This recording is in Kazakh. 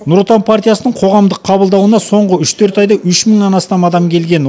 нұр отан партиясының қоғамдық қабылдауына соңғы үш төрт айда үш мыңнан астам адам келген